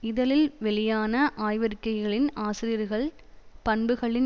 இதழில் வெளியான ஆய்வறிக்கைகளின் ஆசிரியர்கள் பண்புகளின்